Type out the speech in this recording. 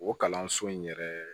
O kalanso in yɛrɛ